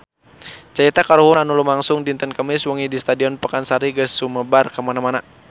Carita kahuruan anu lumangsung dinten Kemis wengi di Stadion Pakansari geus sumebar kamana-mana